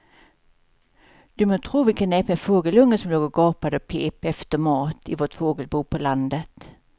Du må tro vilken näpen fågelunge som låg och gapade och pep efter mat i vårt fågelbo på landet.